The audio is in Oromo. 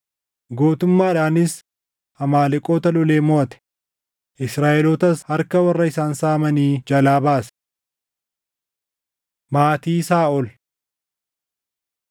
Gootummaadhaanis Amaaleqoota lolee moʼate; Israaʼelootas harka warra isaan saamanii jalaa baase. Maatii Saaʼol